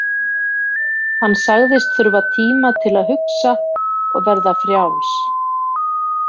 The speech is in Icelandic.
Hann sagðist þurfa tíma til að hugsa og verða frjáls.